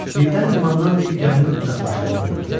Birdən limandan bir gəminin uzaqlaşdığını gördülər.